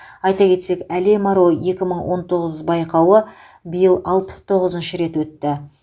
айта кетсек әлем аруы екі мың он тоғыз байқауы биыл алпыс тоғызыншы рет өтті